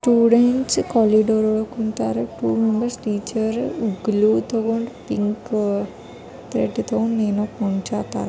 Students corridor ಒಳಗ ಕುಂತಾರಾ teacher ಏನೋ ಕುಂಡ್ರಸಾಕತಾರ.